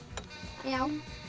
já